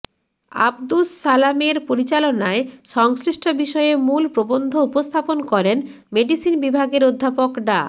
আবদুস সালামের পরিচালনায় সংশ্লিষ্ট বিষয়ে মূল প্রবন্ধ উপস্থাপন করেন মেডিসিন বিভাগের অধ্যাপক ডা